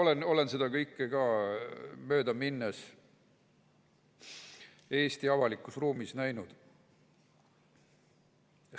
Aga olen seda kõike möödaminnes Eesti avalikus ruumis näinud.